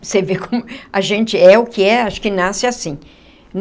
Você vê como a gente é o que é, acho que nasce assim.